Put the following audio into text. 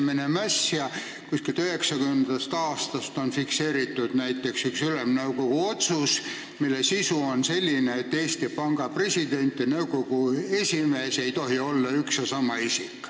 Näiteks millalgi 1990. aastal on fikseeritud üks Ülemnõukogu otsus, mille sisu on selline, et Eesti Panga president ja nõukogu esimees ei tohi olla üks ja sama isik.